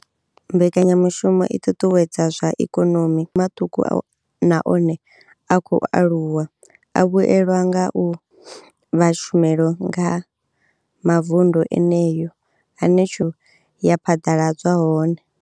Mbekanya mushumo i ṱuṱuwedza zwa ikonomi maṱuku na one a khou aluwa a vhuelwa nga u vha tshumelo kha mavundu eneyo ane tshumelo ya phaḓaladzwa hone.